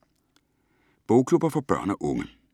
Bogklubber for børn og unge